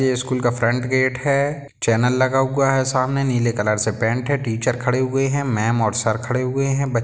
ये स्कूल का front gate है चैनल लगा हुआ हैं सामने नीले कलर से पेंट है टीचर खड़े हुए हैं पहलेमैम और सर खड़े हुए हैं ।